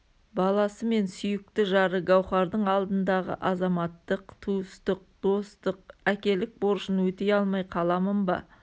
баласы мен сүйікті жары гауһардың алдындағы азаматтық туыстық достық әкелік борышын өтей алмай қаламын ба